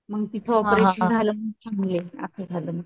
मग तिथं ऑपरेशन झालं म्हणून चांगली आहे आस झालं मग